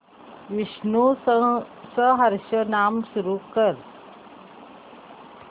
विष्णु सहस्त्रनाम सुरू कर